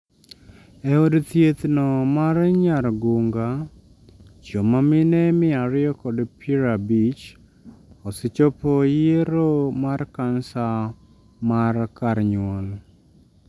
E od thieth no mar nyargunga, joma mine mia ariyo kod pra bich, osechopo yiero mar cancer mar kar nyuol